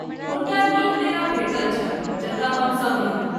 हुनका नीक डेरा भेटल छल जतय हम सभ रहलहुँ।